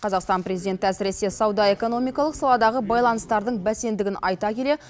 қазақстан президенті әсіресе сауда экономикалық саладағы байланыстардың бәсеңдігін айта келе